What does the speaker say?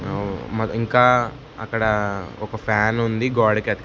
అవును మరింకా అక్కడ ఒక ఫ్యానుంది గోడకి అతికి--